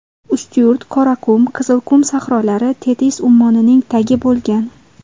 Ustyurt, Qoraqum, Qizilqum sahrolari Tetis ummonining tagi bo‘lgan.